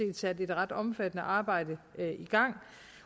set et ret omfattende arbejde i gang